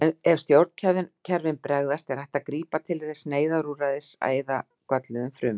Ef stjórnkerfin bregðast er hægt að grípa til þess neyðarúrræðis að eyða gölluðum frumum.